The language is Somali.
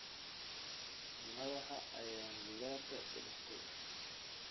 Madaxa ayaan gidaarka ku dhuftay